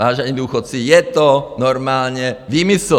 Vážení důchodci, je to normálně výmysl.